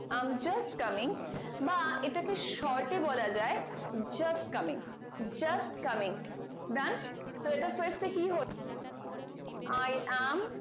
i am just coming বা এটাকে short এ বলা যাই just coming just coming done তো এটা fast এ কি হচ্ছে i am